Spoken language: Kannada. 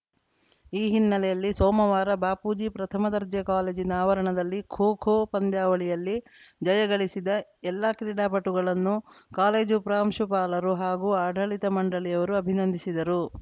ಈ ಹಿನ್ನೆಲೆಯಲ್ಲಿ ಸೋಮವಾರ ಬಾಪೂಜಿ ಪ್ರಥಮ ದರ್ಜೆ ಕಾಲೇಜಿನ ಆವರಣದಲ್ಲಿ ಖೋ ಖೋ ಪಂದ್ಯಾವಳಿಯಲ್ಲಿ ಜಯ ಗಳಿಸಿದ ಎಲ್ಲ ಕ್ರೀಡಾಪಟುಗಳನ್ನು ಕಾಲೇಜು ಪ್ರಾಂಶುಪಾಲರು ಹಾಗೂ ಆಡಳಿತ ಮಂಡಳಿಯವರು ಅಭಿನಂದಿಸಿದರು